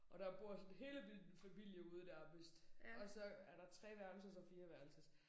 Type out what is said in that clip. Og der bor sådan hele min familie ude nærmest. Og så er der 3 værelses og 4 værelses